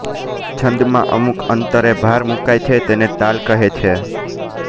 છંદમાં અમુક અંતરે ભાર મુકાય છે તેને તાલ કહે છે